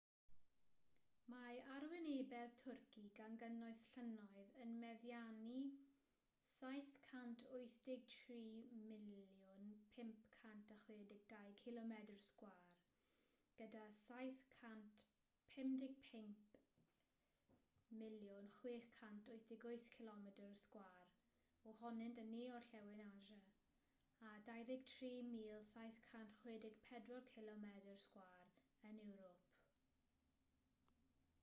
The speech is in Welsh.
mae arwynebedd twrci gan gynnwys llynnoedd yn meddiannu 783,562 cilomedr sgwâr 300,948 milltir sgwâr gyda 755,688 cilomedr sgwâr 291,773 milltir sgwâr ohonynt yn ne-orllewin asia a 23,764 cilomedr sgwar 9,174 milltir sgwar yn ewrop